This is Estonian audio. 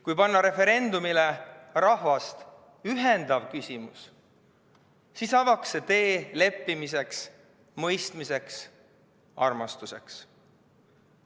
Kui panna referendumile rahvast ühendav küsimus, siis avaks see tee leppimiseks, mõistmiseks, armastuseks.